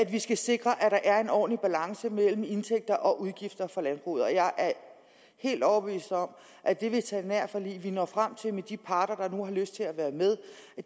vi skal sikre at der er en ordentlig balance mellem indtægter og udgifter for landbruget jeg er helt overbevist om at det veterinærforlig vi når frem til med de parter der nu har lyst til at være med